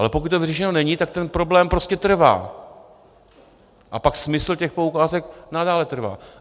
Ale pokud to vyřešeno není, tak ten problém prostě trvá a pak smysl těch poukázek nadále trvá.